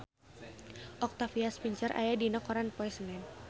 Octavia Spencer aya dina koran poe Senen